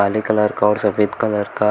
काले कलर का और सफेद कलर का।